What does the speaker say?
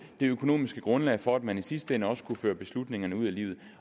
det økonomiske grundlag for at man i sidste ende også kunne føre beslutningerne ud i livet